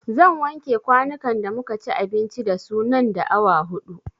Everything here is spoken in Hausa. Zan wanke kwanukan da muka ci abinci da su nan da awa huɗu